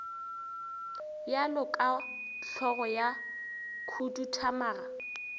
bjalo ka hlogo ya khuduthamaga